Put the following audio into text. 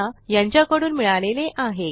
यासंबंधी माहिती पुढील साईटवर उपलब्ध आहे